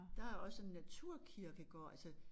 Der er også en naturkirkegård altså